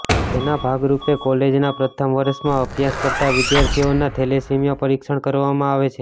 જેના ભાગરૃપે કોલેજના પ્રથમ વર્ષમાં અભ્યાસ કરતા વિદ્યાર્થીઓના થેલેસીમીયા પરીક્ષણ કરવામાં આવે છે